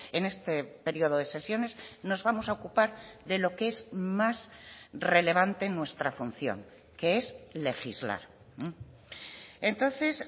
en este periodo de sesiones nos vamos a ocupar de lo que es más relevante en nuestra función que es legislar entonces